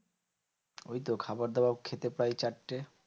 ওইতো খাবার দাবার খেতে প্রায় চারটে।